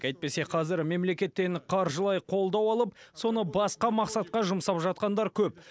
әйтпесе қазір мемлекеттен қаржылай қолдау алып соны басқа мақсатқа жұмсап жатқандар көп